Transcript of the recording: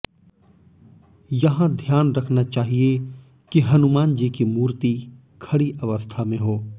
यहाँ ध्यान रखना चाहिए कि हनुमान जी की मूर्ति खड़ी अवस्था में हो